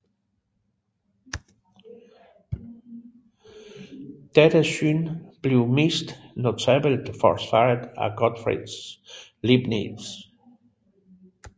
Dette syn blev mest notabelt forsvaret af Gottfried Leibniz